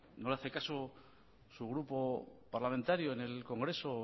no le hace caso su grupo parlamentario en el congreso o